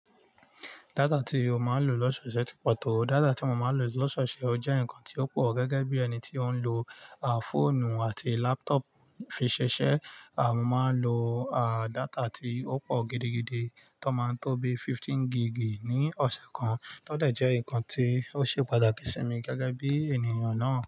Data ti o máa ń lò lọ́sọ̀ọ̀ṣè ti pọ̀ tó. Data tí mo máa ń lò lọ́sọ̀ọ̀ṣè jẹ́ nǹkan tí ó pọ̀ gẹ́gẹ́ bí ẹni tí ó ń lò fóònù àti laptop fi ṣiṣẹ́. À mo máa ń lo data tí ó pọ̀ gidigidi tó máa ń tó bi fifteen gig ni ọ̀sẹ̀ kan, tó dẹ̀ jẹ́ nǹkan tí ó ṣe pàtàkì sí mi gẹ́gẹ́ bí ènìyàn náà.